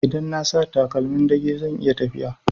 Idan na sa takalmin ɗage zan iya faɗi